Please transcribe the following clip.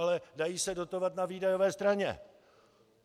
Ale dají se dotovat na výdajové straně.